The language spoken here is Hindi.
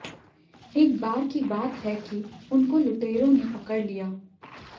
एक बार की बात है कि उनको लुटेरों ने पकड़ लिया